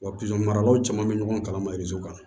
Wa pisɔn maralaw caman bɛ ɲɔgɔn kalama kan